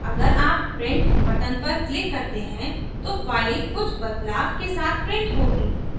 अगर आप print button पर click करते हैं तो file कुछ बदलाव के साथ print होगी